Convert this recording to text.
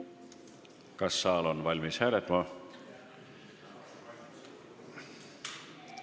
Kas saal on valmis hääletama?